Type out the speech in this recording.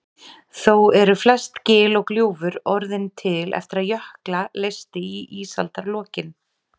Þó eru flest gil og gljúfur orðin til eftir að jökla leysti í ísaldarlokin.